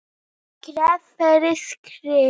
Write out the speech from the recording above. Skref fyrir skrif.